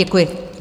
Děkuji.